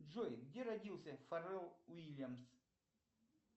джой где родился фаррелл уильямс